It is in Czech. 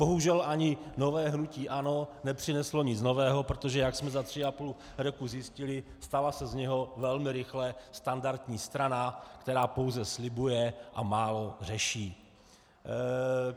Bohužel, ani nové hnutí ANO nepřineslo nic nového, protože jak jsme za tři a půl roku zjistili, stala se z něho velmi rychle standardní strana, která pouze slibuje a málo řeší.